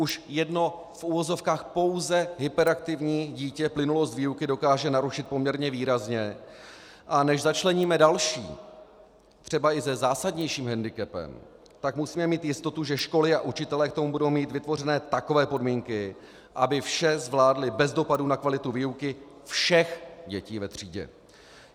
Už jedno v uvozovkách pouze hyperaktivní dítě plynulost výuky dokáže narušit poměrně výrazně, a než začleníme další, třeba i se zásadnějším hendikepem, tak musíme mít jistotu, že školy a učitelé k tomu budou mít vytvořeny takové podmínky, aby vše zvládli bez dopadu na kvalitu výuky všech dětí ve třídě.